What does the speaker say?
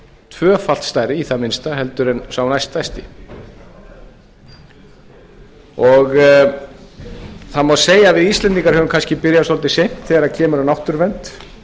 tvöfalt stærri í það minnsta heldur en sá næststærsti það má segja að við íslendingar höfum kannski byrjað svolítið seint þegar kemur að náttúruvernd